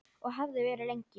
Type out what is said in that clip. Og hefði verið lengi.